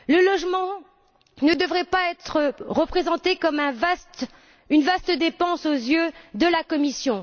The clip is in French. Le logement ne devrait pas être représenté comme une vaste dépense aux yeux de la Commission.